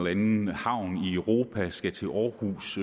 anden havn i europa og som skal til aarhus